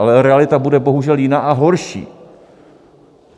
Ale realita bude bohužel jiná, a horší.